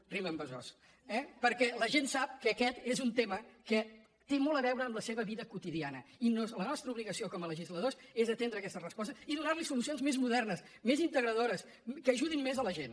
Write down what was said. rima amb besòs eh perquè la gent sap que aquest és un tema que té molt a veure amb la seva vida quotidiana i la nostra obligació com a legisladors és atendre aquestes respostes i donar hi solucions més modernes més integradores que ajudin més la gent